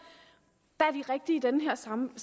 der er de rigtige i den her sammenhæng